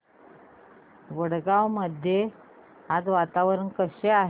वडगाव मध्ये आज वातावरण कसे आहे